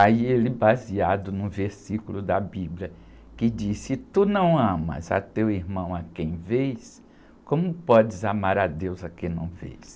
Aí ele, baseado no versículo da Bíblia, que diz, se tu não amas a teu irmão a quem vês, como podes amar a Deus a quem não vês?